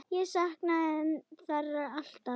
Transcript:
Ég saknaði þeirra alltaf.